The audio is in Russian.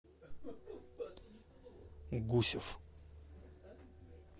гусев